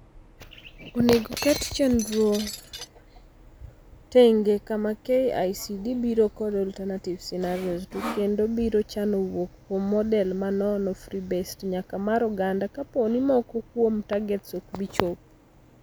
Onego ket chndro tenge kama KICD biro kod alternative scenarios to kendo biro chano wuok kuom model ma nono free based nyaka mar oganda kapooni moko kwuom targets okbi chop.